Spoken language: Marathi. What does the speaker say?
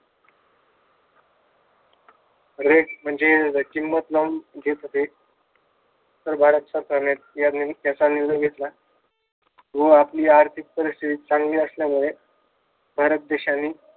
rate म्हणजे किंमत लावून घेत होते तर भारत सरकारने त्याचा निर्णय घेतला व आपली आर्थिक परीस्थिती चांगली असल्यामुळे भारत देशाने